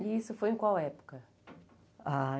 E isso foi em qual época? Ah